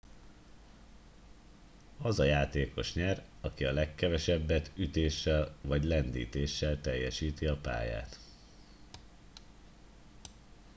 az a játékos nyer aki a legkevesebbet ütéssel vagy lendítéssel teljesíti a pályát